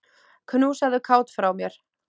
Knúsaðu Kát frá mér.